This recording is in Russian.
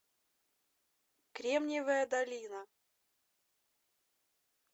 кремниевая долина